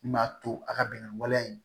Min b'a to a ka bɛn ni waleya in